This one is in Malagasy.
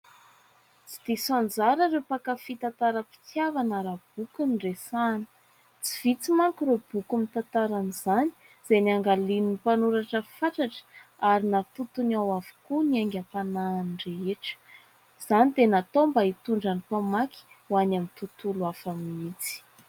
Tsy diso anjara ireo mpankafy tantaram -pitiavana raha boky no resahina. Tsy vitsy manko ireo boky mitantara izany izay niangalian'ny mpanoratra fatratra ary nahatotony ao avokoa ny haingam-panahiny rehetra, izany dia natao mba hitondra ny mpamaky ho any amin'ny tontolo hafa mihitsy.